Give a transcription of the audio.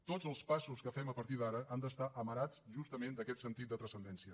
tots els passos que fem a partir d’ara han d’estar amarats justament d’aquest sentit de transcendència